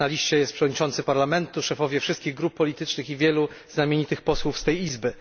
Na liście jest przewodniczący Parlamentu, szefowie wszystkich grup politycznych i wielu znamienitych posłów z tej izby.